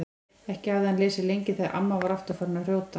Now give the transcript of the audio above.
Ekki hafði hann lesið lengi þegar amma var aftur farin að hrjóta.